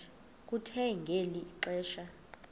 kuthe ngeli xesha